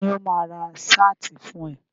Ta ni ó máa ra ṣáàtì fún ẹ.